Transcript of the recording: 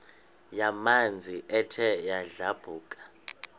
yamanzi ethe yadlabhuka